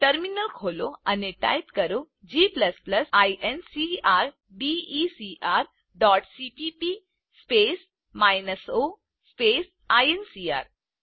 terminal ખોલો અને type કરો g incrdecrસીપીપી o આઇએનસીઆર